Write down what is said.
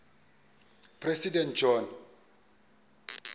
president john